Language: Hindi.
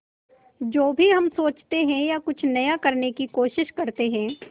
जो भी हम सोचते हैं या कुछ नया करने की कोशिश करते हैं